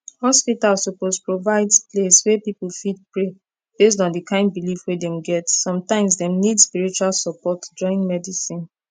hospital suppose provide place wey people fit pray based on the kind belief wey dem get sometimes dem need spiritual support join medicine